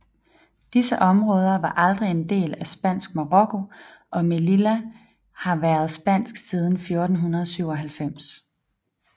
Disse områder var aldrig en del af Spansk Marokko og Melilla har været spansk siden 1497